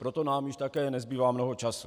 Proto nám už také nezbývá mnoho času.